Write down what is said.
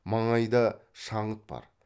маңайда шаңыт бар